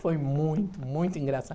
Foi muito, muito engraçado.